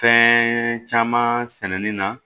Fɛn caman sɛnɛni na